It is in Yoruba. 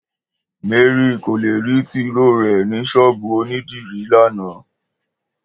Mary ko le ri tiróó rẹ ni sọ́ọ́bú onidiri lana.